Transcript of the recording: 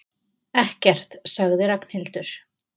Ekkert sagði Ragnhildur.